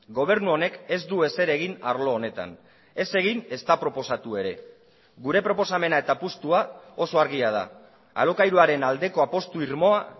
gobernu honek ez du ezer egin arlo honetan ez egin ezta proposatu ere gure proposamena eta apustua oso argia da alokairuaren aldeko apustu irmoa